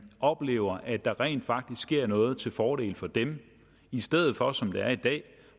oplever at der rent faktisk sker noget til fordel for dem i stedet for som det er i dag